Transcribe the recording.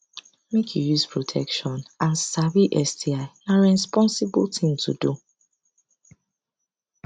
make u use protection and sabi sti na rensposible thing to do